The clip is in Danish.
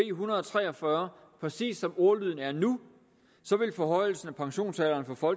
en hundrede og tre og fyrre præcis som ordlyden er nu ville forhøjelsen af pensionsalderen for